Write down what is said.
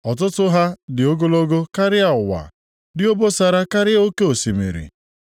Ọtụtụ ha dị ogologo karịa ụwa, dị obosara karịa oke osimiri.